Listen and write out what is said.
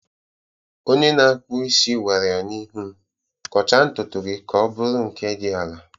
Onye na-akpụ isi gwara ya n'ihu m, "Kọchaa ntutu gị ka ọ bụrụ nke dị ala""